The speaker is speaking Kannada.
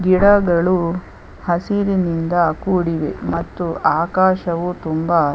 ಗಿಡಗಳು ಹಸಿರಿನಿಂದ ಕೂಡಿವೆ ಮತ್ತು ಆಕಾಶವು ತುಂಬಾ.